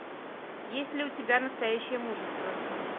есть ли у тебя настоящее мужество